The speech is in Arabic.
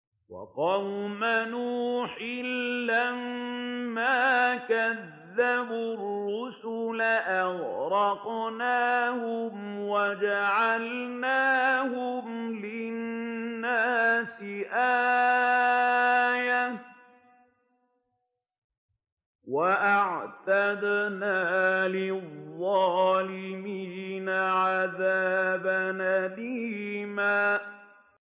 وَقَوْمَ نُوحٍ لَّمَّا كَذَّبُوا الرُّسُلَ أَغْرَقْنَاهُمْ وَجَعَلْنَاهُمْ لِلنَّاسِ آيَةً ۖ وَأَعْتَدْنَا لِلظَّالِمِينَ عَذَابًا أَلِيمًا